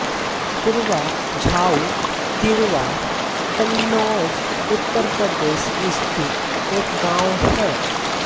पुरवा झाऊ तिरवा कन्नौज उत्तर प्रदेश स्थित एक गाँव है